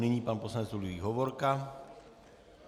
Nyní pan poslanec Ludvík Hovorka.